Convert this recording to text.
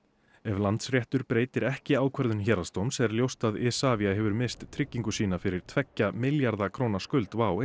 ef Landsréttur breytir ekki ákvörðun héraðsdóms er ljóst að Isavia hefur misst tryggingu sína fyrir tveggja milljarða króna skuld WOW